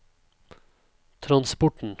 transporten